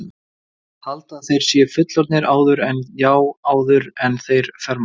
Halda að þeir séu fullorðnir áður en, já, áður en þeir fermast.